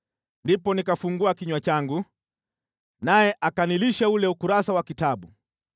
Ndipo nikafungua kinywa changu, naye akanilisha ule ukurasa wa kitabu.